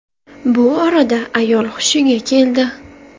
Bu orada ayol hushiga keldi.